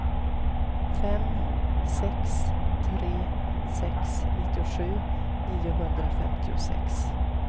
fem sex tre sex nittiosju niohundrafemtiosex